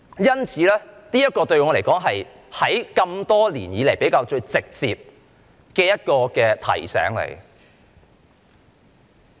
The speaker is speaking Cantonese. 因此，對我來說，這是多年來比較直接的一種提醒。